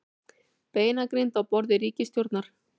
Beinagrind á borði ríkisstjórnar